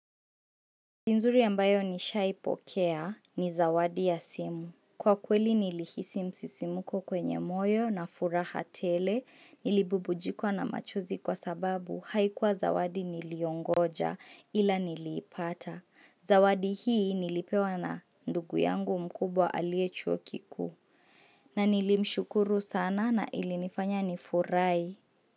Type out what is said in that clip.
Ni nzuri ambayo nishaipokea ni zawadi ya simu. Kwa kweli nilihisi msisimuko kwenye moyo na furaha tele, nilibubujikwa na machozi kwa sababu haikuwa zawadi niliongoja ila niliipata. Zawadi hii nilipewa na ndugu yangu mkubwa alie chuo kikuu na nilimshukuru sana na ilinifanya ni furahi.